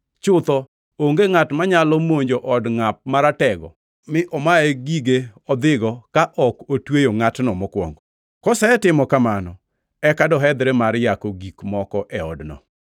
Chutho onge ngʼat manyalo monjo od ngʼat maratego mi omaye gige odhigo ka ok otweyo ngʼatno mokwongo. Kosetimo kamano eka dohedhre mar yako gik moko e odno.